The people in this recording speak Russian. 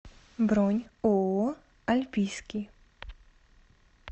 бронь ооо альпийский